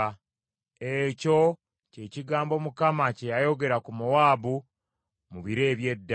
Ekyo kye kigambo Mukama kye yayogera ku Mowaabu mu biro eby’edda.